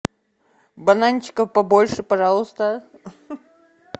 бананчиков побольше пожалуйста